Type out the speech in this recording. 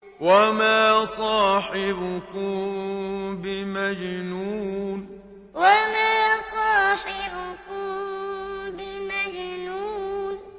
وَمَا صَاحِبُكُم بِمَجْنُونٍ وَمَا صَاحِبُكُم بِمَجْنُونٍ